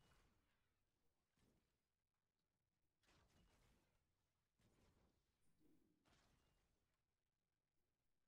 Ku darida waxbarashada waxay taageertaa baahiyaha kala duwan ee bartayaasha si wax ku ool ah.